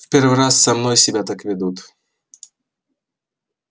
в первый раз со мной себя так ведут